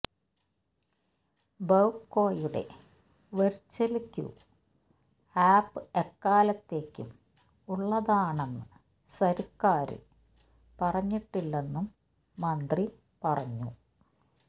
ബെവ് കോയുടെ virtual queue app എക്കാലത്തേക്കും ഉള്ളതാണെന്ന് സര്ക്കാര് പറഞ്ഞിട്ടില്ലെന്നും മന്ത്രി പറഞ്ഞു